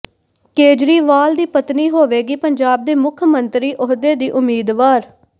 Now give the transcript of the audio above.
ਕੇਜਰੀਵਾਲ ਦੀ ਪਤਨੀ ਹੋਵੇਗੀ ਪੰਜਾਬ ਦੇ ਮੁੱਖ ਮੰਤਰੀ ਅਹੁਦੇ ਦੀ ਉਮੀਦਵਾਰ